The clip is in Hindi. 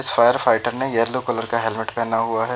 इस फायर फाइटर ने येलो कलर का हेलमेट पहना हुआ है।